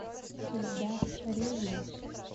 ильдар ревин